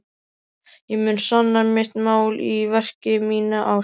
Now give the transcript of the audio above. Ég mun sanna mitt mál í verki, mína ást.